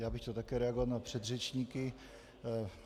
Já bych chtěl také reagovat na předřečníky.